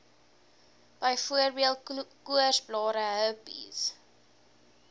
byvoorbeeld koorsblare herpes